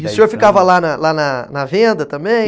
E o senhor ficava lá na lá na venda também?